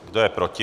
Kdo je proti?